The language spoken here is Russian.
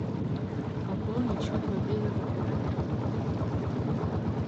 пополнить счет мобильного оператора друга